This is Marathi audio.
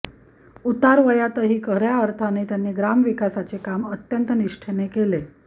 उतारवयातही खऱ्या अर्थाने त्यांनी ग्रामविकासाचे काम अत्यंत निष्ठेने केले